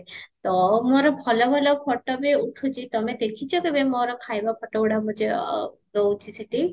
ତ ମୋର ଭଲ ଭଲ photo ବି ଉଠୁଚି ତମେ ଦେଖିଚ କେବେ ମୋର ଖାଇବା photo ଗୁଡା ଦଉଚି ସେଠି